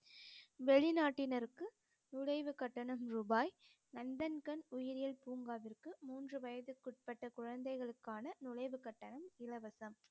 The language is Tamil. வெளிநாட்டினருக்கு நுழைவு கட்டணம் ரூபாய் நந்தன்கன் உயிரியல் பூங்காவிற்கு மூன்று வயதுக்குட்பட்ட குழந்தைகளுக்குகான நுழைவு கட்டணம் இலவசம்